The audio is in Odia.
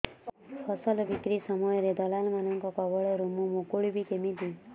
ଫସଲ ବିକ୍ରୀ ସମୟରେ ଦଲାଲ୍ ମାନଙ୍କ କବଳରୁ ମୁଁ ମୁକୁଳିଵି କେମିତି